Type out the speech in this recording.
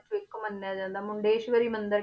ਚੋਂ ਇੱਕ ਮੰਨਿਆ ਜਾਂਦਾ ਮੁੰਡੇਸ਼ਵਰੀ ਮੰਦਿਰ